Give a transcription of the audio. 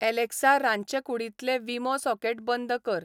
Alexa रांदचेकुडींतलें Wemo socket बंद कर